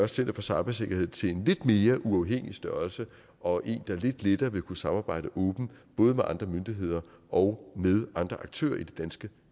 center for cybersikkerhed til en lidt mere uafhængig størrelse og en der lidt lettere vil kunne samarbejde åbent både med andre myndigheder og med andre aktører i det danske